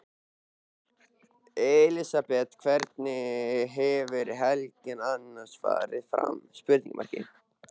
Elísabet: Hvernig hefur helgin annars farið fram?